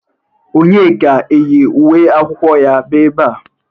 Ònyeka eyi uwe akwụkwọ ya bịa ebea?